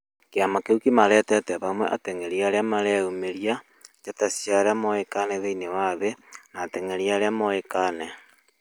kĩama kĩũ kĩmarehete hamwe ateng'erĩ arĩa mareyũmĩrĩa, njata cĩa arĩa moĩkaĩne thĩnĩ wa thĩ, na ateng'erĩ arĩa mũĩkaĩne